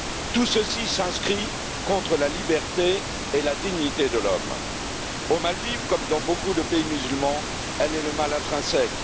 Tout ceci s'inscrit contre la liberté et la dignité de l'homme. Aux Maldives, comme dans beaucoup de pays musulmans, elle est le mal intrinsèque.